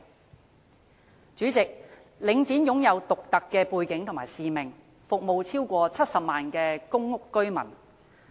代理主席，領展肩負獨特的背景和使命，服務超過70萬戶公屋居民。